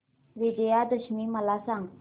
विजयादशमी मला सांग